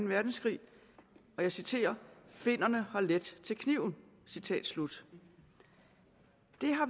verdenskrig og jeg citerer finnerne har let til kniven citat slut